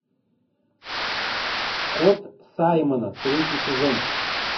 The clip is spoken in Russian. кот саймона третий сезон